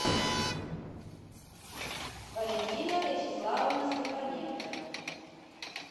валентина вячеславовна степаненко